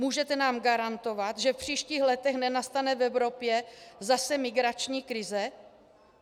Můžete nám garantovat, že v příštích letech nenastane v Evropě zase migrační krize?